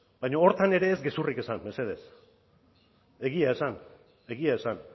baina horretan ere ez gezurrik esan mesedez egia esan egia esan